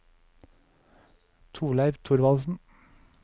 Torleiv Thorvaldsen